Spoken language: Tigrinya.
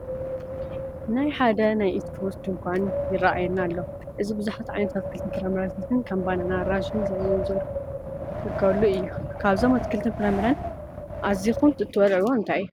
ናይ ሓደ ናይ ኢት ፍሩት ድንኳን ይረአየና ኣሎ፡፡ እዚ ብዙሓት ዓይነት ኣትክልትን ፈራምረታትን ከም ባናና፣ ኣራንሸን ዘቢብን ዝርከበሉ አዩ፡፡ ካብዞም ኣትክልትን ፍራምረን ኣዚኹም እትበልዕዎ እንታይ እዩ?